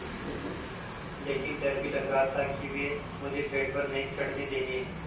लेकिन डर भी लग रहा था कि वे मुझे पेड़ पर नहीं चढ़ने देंगे